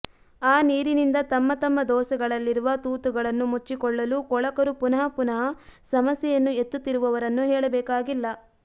ಆ ನೀರಿನಿಂದ ತಮ್ಮ ತಮ್ಮ ದೋಸೆಗಳಲ್ಲಿರುವ ತೂತುಗಳನ್ನು ಮುಚ್ಚಿಕೊಳ್ಳಲು ಕೊಳಕರು ಪುನಃ ಪುನಃ ಸಮಸ್ಯೆಯನ್ನು ಎತ್ತುತ್ತಿರುವವರನ್ನು ಹೇಳಬೇಕಾಗಿಲ್ಲ